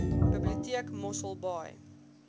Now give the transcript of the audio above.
biblioteek mossel baai